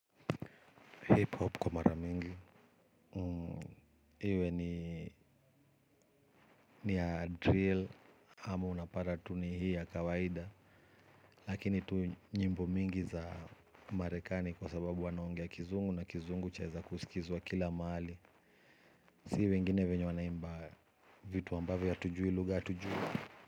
Nipo hapa kwa maramingi. Iwe ni ya drill. Ama unapata tu ni hii ya kawaida. Lakini tu nyimbo mingi za marekani, kwa sababu wanaongea kizungu na kizungu chaweza kusikizwa kila mahali. Si wengine vyenye wanaimba. Vitu ambavyo hatujui lugha hatujui.